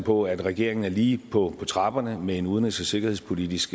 på at regeringen lige på trapperne med en udenrigs og sikkerhedspolitisk